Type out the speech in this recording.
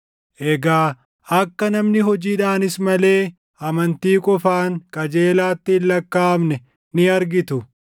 Egaa akka namni hojiidhaanis malee amantii qofaan qajeelaatti hin lakkaaʼamne ni argitu.